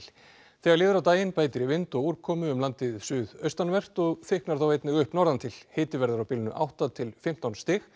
þegar líður á daginn bætir í vind og úrkomu um landið suðaustanvert og þykknar þá einnig upp norðantil hiti verður á bilinu átta til fimmtán stig